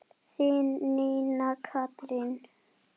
Þín, Nína Katrín.